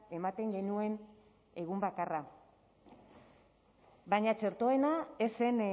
ematen genuen egun bakarra baina txertoena ez zen